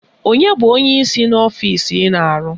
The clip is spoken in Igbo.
Onye bụ onyeisi n'ọfisi ị na-arụ?